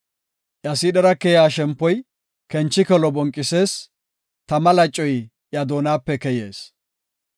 Iya siidhera keya shempoy kenchikelo bonqisees; tama lacoy iya doonape keyees.